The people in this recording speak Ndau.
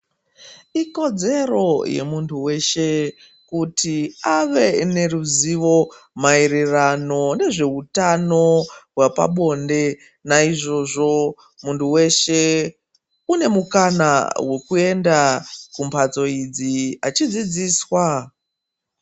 Ikodzero yemuntu weshe kuti ave neruzivo maererano nezveutano hwapabonde. Naizvozvo muntu weshe une mukana wekuenda kumbatso idzi achidzidziswa.